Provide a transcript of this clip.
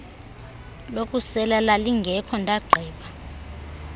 lokusela lalingekho ndagqiba